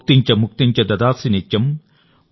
భుక్తిం చ ముక్తిం చ దదాసి నిత్యం